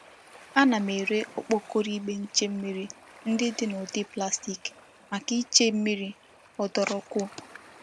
Ana m ere okpokoro igbe nche mmiri ndi di n'udi plastic maka iche mmiri odurukuo.